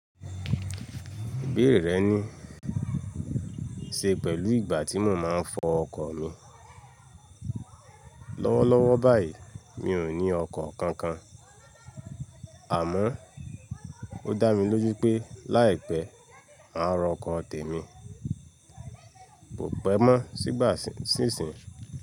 Bẹ́ẹ̀rẹ̀ ni, ṣe pẹ̀lú ìgbà tí mo máa ń fọ ọkọ̀ mi. Lọ́wọ́lọ́wọ́ báyìí, mi ò ní ọkọ̀ kankan, àmọ́ ó dá mi lójú pé láìpẹ́, màá ra ọkọ̀ tèmi. Kò pẹ́ mọ́ sígbà sísinyi.